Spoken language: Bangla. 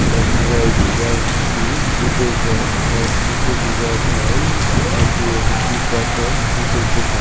লেখা রয়েছে যা একটি জুতো ব্রান্ড এর থেকে বুঝা যায় এটি একটি বাটার জুতোর দোকান।